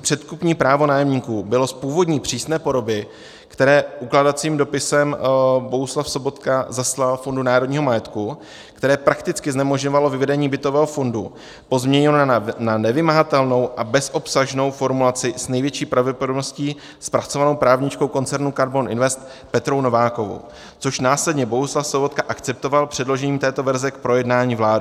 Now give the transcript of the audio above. předkupní právo nájemníků, bylo z původní přísné podoby, které ukládacím dopisem Bohuslav Sobotka zaslal Fondu národního majetku, které prakticky znemožňovalo vyvedení bytového fondu, pozměněno na nevymahatelnou a bezobsažnou formulaci s největší pravděpodobností zpracovanou právničkou koncernu KARBON INVEST Petrou Novákovou, což následně Bohuslav Sobotka akceptoval předložením této verze k projednání vládou.